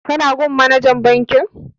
Ka na gun manajan bankin?